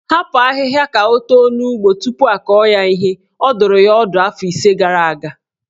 Hapụ ahịhịa ka o too n'ugbo tupu akọ ya ihe" Ọ dụrụ ya ọdụ afọ ise gara aga.